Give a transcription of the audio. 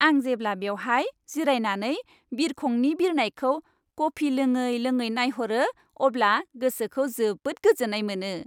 आं जेब्ला बेवहाय जिरायनानै बिरखंनि बिरनायखौ कफि लोङै लोङै नायहरो अब्ला गोसोखौ जोबोद गोजोन्नाय मोनो।